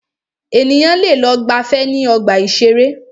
Ènìyàn lẹ lọ gbàfẹ́ ní ọgbà ìṣẹ̀rẹ́.